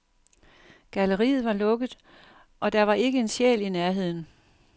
Galleriet var lukket, og der var ikke en sjæl i nærheden.